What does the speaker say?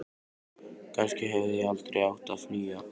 Kannski hefði ég aldrei átt að flýja.